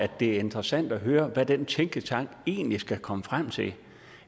det er interessant at høre hvad den tænketank egentlig skal komme frem til